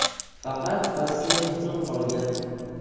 Faqat basseyn butun qolgan.